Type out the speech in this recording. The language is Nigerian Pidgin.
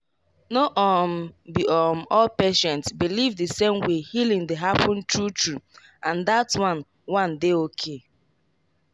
no um be um all patient believe the same way healing dey happen true true—and that one one dey okay.